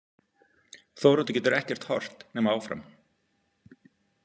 Þóroddur getur ekkert horft nema áfram.